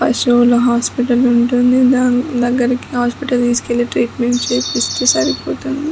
పశువుల హాస్పిటల్ ఉంటుంది దాని దగ్గరికి హాస్పిటల్ తీసుకెళ్లి ట్రీట్మెంట్ చేపిస్తే సరిపోతుంది.